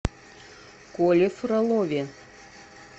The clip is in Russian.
коле фролове